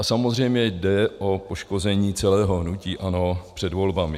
A samozřejmě jde o poškození celého hnutí ANO před volbami.